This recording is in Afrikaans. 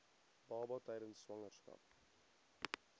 baba tydens swangerskap